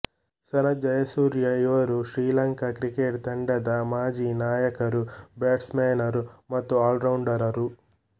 ಸನತ್ ಜಯಸೂರ್ಯ ಇವರು ಶ್ರೀಲಂಕಾ ಕ್ರಿಕೆಟ್ ತಂಡದ ಮಾಜಿ ನಾಯಕರುಬ್ಯಾಟ್ಸಮನ್ನರು ಮತ್ತು ಆಲ್ರೌಂಡರರು